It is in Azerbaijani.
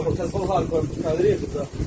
Bu qapı bulqarka ilə.